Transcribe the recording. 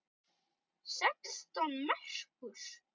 Sextán merkur!